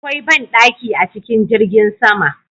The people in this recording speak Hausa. Akwai ban ɗaki a cikin jirgin sama